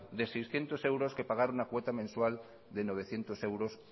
de seiscientos euros que pagar una cuota mensual de novecientos euros